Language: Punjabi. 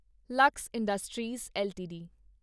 Lux industries LTD